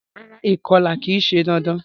Rárá, ìkolà ki se dandan